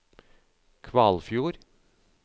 Kvalfjord